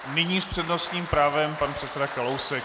Nyní s přednostním právem pan předseda Kalousek.